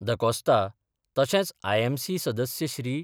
The Costa तशेंच IMC सदस्य श्री.